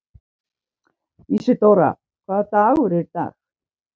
Ísidóra, hvaða vikudagur er í dag?